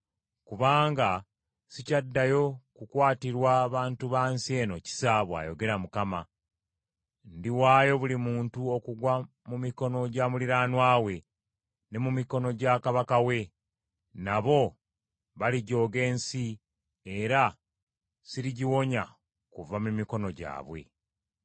Kubanga sikyaddayo kukwatirwa bantu ba nsi eno kisa,” bw’ayogera Mukama . “Ndiwaayo buli muntu okugwa mu mikono gya muliraanwa we, ne mu mikono gya kabaka we. Nabo balijooga ensi era sirigiwonya kuva mu mikono gwabwe.”